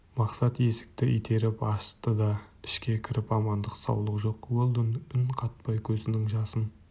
мақсат есікті итеріп ашты да ішке кіріп амандық саулық жоқ уэлдон үн қатпай көзінің жасын